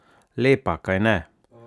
Lepa, kajne?